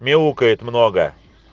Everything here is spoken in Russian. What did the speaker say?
мяукает много